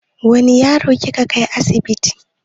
Wane yaro kika kai asibiti?